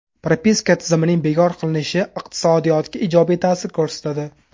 Propiska tizimining bekor qilinishi iqtisodiyotga ijobiy ta’sir ko‘rsatadi.